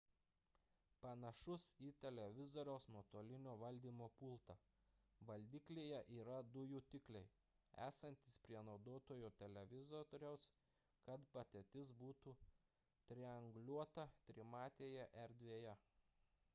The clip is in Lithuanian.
panašus į televizoriaus nuotolinio valdymo pultą – valdiklyje yra du jutikliai esantys prie naudotojo televizoriaus kad padėtis būtų trianguliuota trimatėje erdvėje